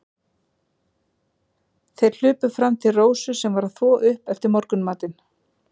Þeir hlupu fram til Rósu, sem var að þvo upp eftir morgunmatinn.